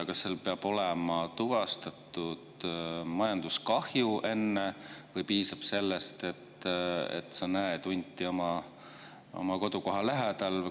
Kas enne peab olema tuvastatud majanduskahju või piisab sellest, et sa näed hunti oma kodukoha lähedal?